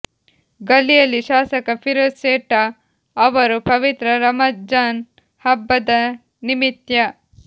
ಗಲ್ಲಿಯಲ್ಲಿ ಶಾಸಕ ಫಿರೋಜ್ ಸೇಠ ಅವರು ಪವಿತ್ರ ರಮಜಾನ್ ಹಬ್ಬದ ನಿಮಿತ್ಯ